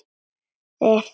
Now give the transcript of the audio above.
Þeir kunna þetta.